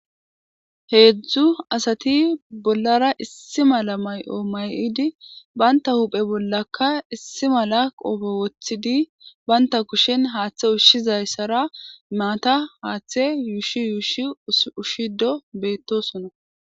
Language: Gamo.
heedzdzu asati bollara issi mala may7o may7idi banta huphe bollakka issi mala qofe wothidi baynta kushen haaththe ushshizayssara maata haaththe yuushi yuushi ushshido beettosona